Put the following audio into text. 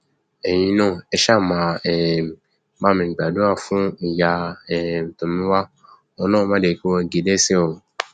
ẹyin náà ẹ ṣáà máa um bá mi gbàdúrà fún ìyá um tomiwa ọlọrun má jẹ kí wọn gé e lẹsẹ o